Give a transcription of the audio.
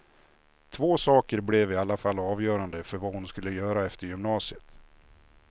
Två saker blev i alla fall avgörande för vad hon skulle göra efter gymnasiet.